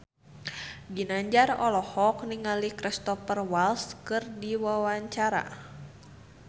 Ginanjar olohok ningali Cristhoper Waltz keur diwawancara